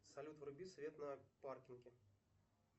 салют вруби свет на паркинге